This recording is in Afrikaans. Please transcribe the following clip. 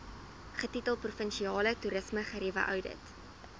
getitel provinsiale toerismegerieweoudit